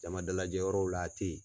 Jama dalajɛ yɔrɔw la a tɛ ye.